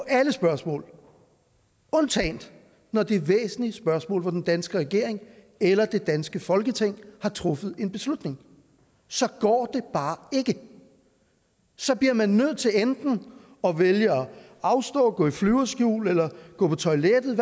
alle spørgsmål undtagen når det er væsentlige spørgsmål hvor den danske regering eller det danske folketing har truffet en beslutning så går det bare ikke så bliver man nødt til enten at vælge at afstå at gå i flyverskjul eller gå på toilettet